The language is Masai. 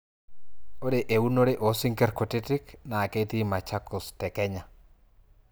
ore eunore oosinkir kutitik naa ketii machakos te kenya